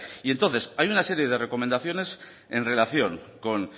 y entonces hay una serie de recomendaciones en relación con